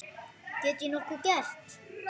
Get ég nokkuð gert?